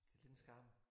Lidt en skam